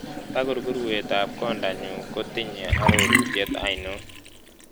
Tagurgurwetap kondanyun kotinye arororutien ainon